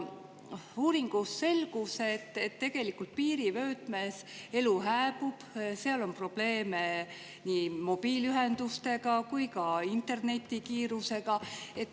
Uuringust selgus, et piirivöötmes elu hääbub, seal on probleeme nii mobiiliühenduste kui ka internetikiirusega.